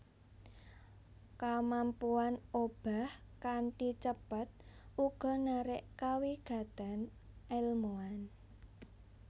Kamampuan obah kanthi cepet uga narik kawigatèn èlmuwan